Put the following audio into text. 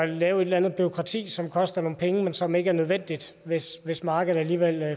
lave et eller andet bureaukrati som koster nogle penge men som ikke er nødvendigt hvis hvis markedet alligevel